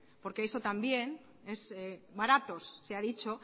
porque eso también baratos se ha dicho